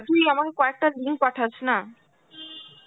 তুই আমাকে কয়েকটা link পাঠাস না.